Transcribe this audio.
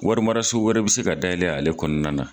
Warimaraso wɛrɛ be se ka dayɛlɛ ale kɔnɔna na